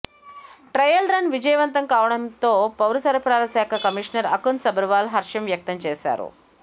trial run విజయవంతం కావడంపై పౌరసరఫరాల శాఖ కమిషనర్ అకున్ సబర్వాల్ హర్షం వ్యక్తం చేశారు